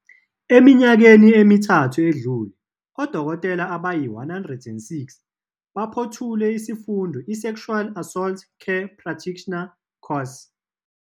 "Eminyakeni emithathu edlule, odokotela abayi-106 baphothule isifundo i-Sexual Assault Care Practitioner Course."